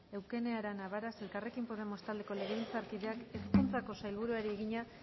eukene arana varas elkarrekin podemos taldeko legebiltzarkideak hezkuntzako sailburuari egina